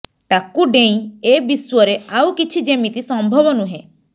ତାକୁ ଡେଇଁ ଏ ବିଶ୍ୱରେ ଆଉ କିଛି ଯେମିତି ସମ୍ଭବ ନୁହେଁ